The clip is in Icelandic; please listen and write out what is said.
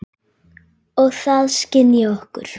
Og það skynji okkur.